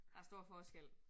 Der stor forskel